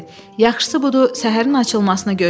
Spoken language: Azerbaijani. Yaxşısı budur, səhərin açılmasını gözləyək.